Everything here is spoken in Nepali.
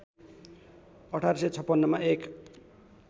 १८५६ मा एक